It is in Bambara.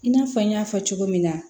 I n'a fɔ n y'a fɔ cogo min na